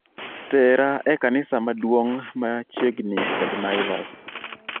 tera e kanisa maduong' ma chiegni kod naivas